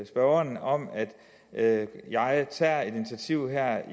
spørgeren om at jeg tager et initiativ